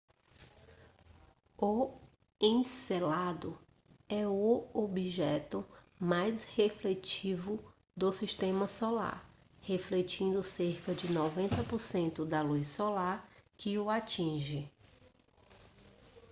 o encélado é o objeto mais refletivo do sistema solar refletindo cerca de 90% da luz solar que o atinge